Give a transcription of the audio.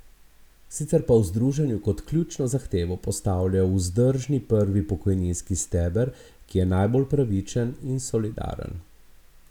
Sicer pa v združenju kot ključno zahtevo postavljajo vzdržni prvi pokojninski steber, ki je najbolj pravičen in solidaren.